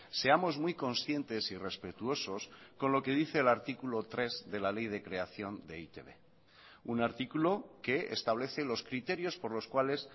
seamos muy conscientes y respetuosos con lo que dice el artículo tres de la ley de creación de e i te be un artículo que establece los criterios por los cuales